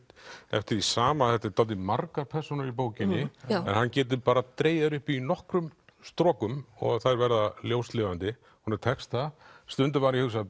eftir því sama þetta eru dálítið margar persónur í bókinni en hann getur dregið þær upp í nokkrum strokum og þær verða ljóslifandi honum tekst það stundum var ég hugsa